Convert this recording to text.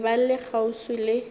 be ba le kgauswi le